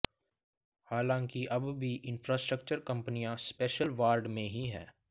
हालांकि अब भी इंफ्रास्ट्रक्चर कंपनियां स्पेशल वार्ड में ही हैं